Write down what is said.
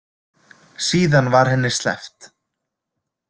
Síðan var henni sleppt.